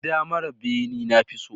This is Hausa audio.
Gida mara bene na fi so